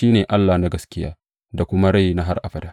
Shi ne Allah na gaskiya da kuma rai na har abada.